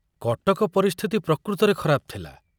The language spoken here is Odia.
କଟକ ପରିସ୍ଥିତି ପ୍ରକୃତରେ ଖରାପ ଥିଲା।